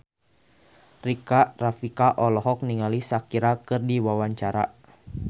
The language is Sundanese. Rika Rafika olohok ningali Shakira keur diwawancara